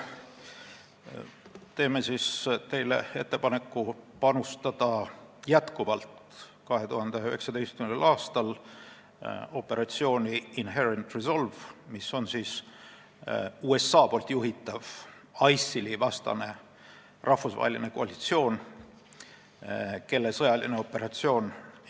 Teeme teile ettepaneku 2019. aastal jätkuvalt panustada operatsiooni Inherent Resolve, mis on USA juhitav ISIL-i vastase rahvusvahelise koalitsiooni sõjaline operatsioon.